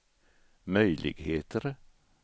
möjligheter